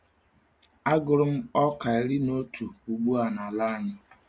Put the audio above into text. Agụrụ m ọka iri n’otu ugba n’ala anyị.